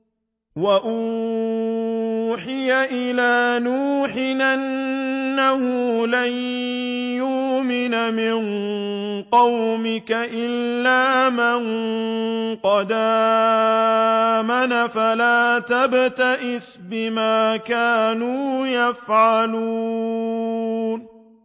وَأُوحِيَ إِلَىٰ نُوحٍ أَنَّهُ لَن يُؤْمِنَ مِن قَوْمِكَ إِلَّا مَن قَدْ آمَنَ فَلَا تَبْتَئِسْ بِمَا كَانُوا يَفْعَلُونَ